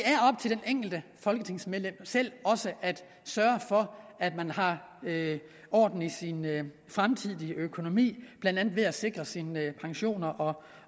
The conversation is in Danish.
enkelte folketingsmedlem selv at sørge for at man har orden i sin fremtidige økonomi blandt andet ved at sikre sine pensioner og